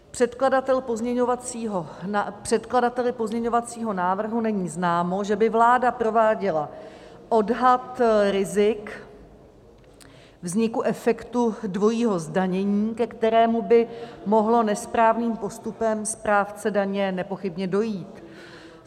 Předkladateli pozměňovacího návrhu není známo, že by vláda prováděla odhad rizik vzniku efektu dvojího zdanění, ke kterému by mohlo nesprávným postupem správce daně nepochybně dojít.